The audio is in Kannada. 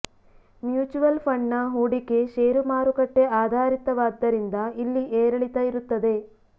ಮ್ಯೂಚುವಲ್ ಫಂಡ್ನ ಹೂಡಿಕೆ ಷೇರು ಮಾರುಕಟ್ಟೆ ಆಧಾರಿತವಾದ್ದರಿಂದ ಇಲ್ಲಿ ಏರಿಳಿತ ಇರುತ್ತದೆ